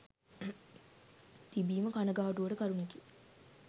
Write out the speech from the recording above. තිබීම කණගාටුවට කරුණකි.